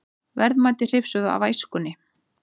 Verðmæti hrifsuð af æskunni